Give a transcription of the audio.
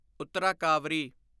ਉੱਤਰਾ ਕਾਵਰੀ